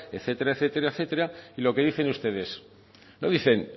etcétera etcétera etcétera y lo que dicen ustedes no dicen